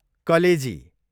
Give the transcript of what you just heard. कलेजी